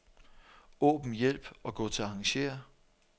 Åbn hjælp og gå til arrangér.